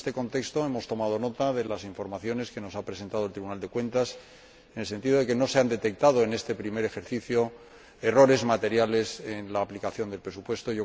Y en este contexto hemos tomado nota de las informaciones que nos ha presentado el Tribunal de Cuentas, en el sentido de que no se han detectado en este primer ejercicio errores materiales en la aplicación del presupuesto.